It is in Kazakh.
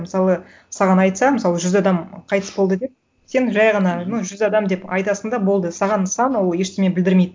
мысалы саған айтса мысалы жүз адам қайтыс болды деп сен жай ғана ну жүз адам деп айтасың да болды саған сан ол ештеңе білдірмейді